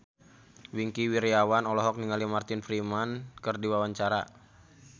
Wingky Wiryawan olohok ningali Martin Freeman keur diwawancara